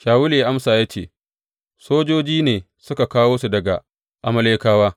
Shawulu ya amsa ya ce, Sojoji ne suka kawo su daga Amalekawa.